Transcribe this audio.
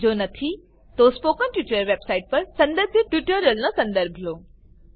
જો નથી તો સ્પોકન ટ્યુટોરીયલ વેબસાઈટ પર સંદર્ભિત ટ્યુટોરીયલોનો સંદર્ભ લો